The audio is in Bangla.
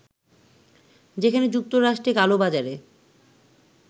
যেখানে যুক্তরাষ্ট্রে কালোবাজারে